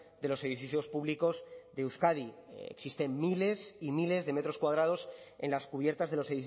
de los edificios públicos de euskadi existen miles y miles de metros cuadrados en las cubiertas de los